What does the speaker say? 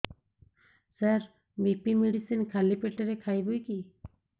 ସାର BP medicine ଖାଲି ପେଟରେ ଖାଇବି କି